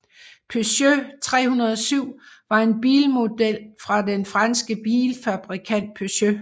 Peugeot 307 var en bilmodel fra den franske bilfabrikant Peugeot